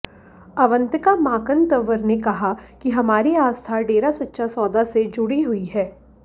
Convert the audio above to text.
अवंतिका माकन तंवर ने कहा कि हमारी आस्था डेरा सच्चा सौदा से जुड़ी हुई है